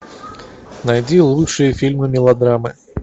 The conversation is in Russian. найди лучшие фильмы мелодрамы